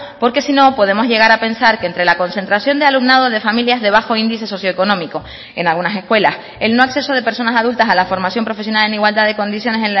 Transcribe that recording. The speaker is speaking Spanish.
porque si no podemos llegar a pensar que entre la concentración de alumnado de familias de bajo índice socio económico en algunas escuelas el no acceso de personas adultas a la formación profesional en igualdad de condiciones